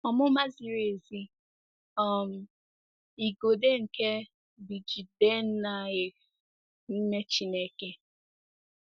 Ọmụma ziri ezi um - Igodo nke BJidennaef n'ime Chineke.